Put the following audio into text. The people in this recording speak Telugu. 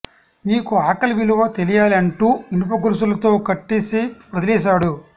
నీకు ఆకలి విలువ తెలియాలి అంటూ ఇనుప గొలుసులతో కట్టేసి వదిలేశాడు